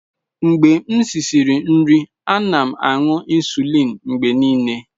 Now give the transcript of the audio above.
Mgbe m risịrị nri, ana m aṅụ insulin mgbe niile.